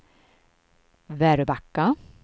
Väröbacka